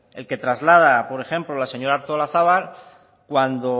el que traslada por ejemplo la señora artolazabal cuando